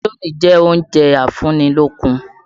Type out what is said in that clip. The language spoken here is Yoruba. Indómì jẹ́ oúnjẹ afúnnilókun.